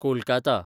Kolkata